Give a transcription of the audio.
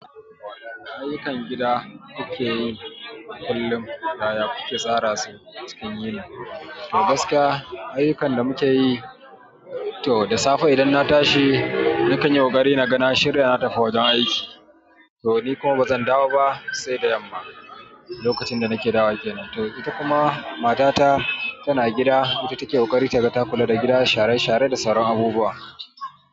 Ayyukan gida kuke yi kullum, kaya kuke tsara su cikin yini. To gaskiya, ayyukan da muke yi to da safe idan na tashi, nakan yi ƙoƙari na ga na shirya, na tafi wajen aiki. To ni kuma ba zan dawo ba sai da yamma, lokacin da nake dawo kenan. To ita kuma matata tana gida, ita take ƙoƙari ta ga ta kula da gida da share-share da sauran abubuwa.